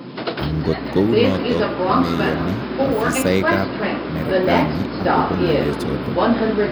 Angot kounotok komeyoni ofisaek ap marekani agopo ngalechotok.